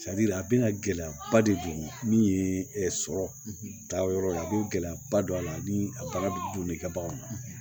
a bɛna gɛlɛyaba de don min ye sɔrɔ taa yɔrɔ ye a bɛ gɛlɛyaba don a la ni a bagan bɛ don i ka bagan na